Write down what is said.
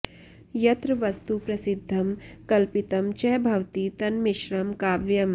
यत्र वस्तु प्रसिध्दं कल्पितं च भवति तन्मिश्रं काव्यम्